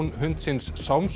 hundsins